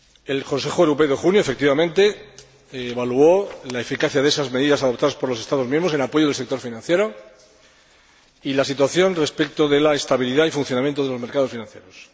El Consejo Europeo de junio, efectivamente, evaluó la eficacia de esas medidas adoptadas por los Estados miembros en apoyo del sector financiero y la situación respecto de la estabilidad y funcionamiento de los mercados financieros.